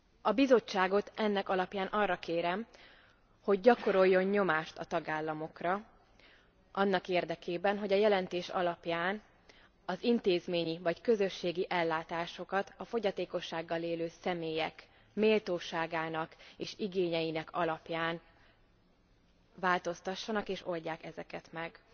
A Bizottságot ennek alapján arra kérem, hogy gyakoroljon nyomást a tagállamokra annak érdekében, hogy a jelentés alapján az intézményi vagy közösségi ellátásokon a fogyatékossággal élő személyek méltóságának és igényeinek alapján változtassanak, és oldják ezeket meg.